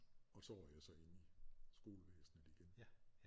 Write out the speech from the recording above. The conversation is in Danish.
Og så røg jeg så ind i skolevæsenet igen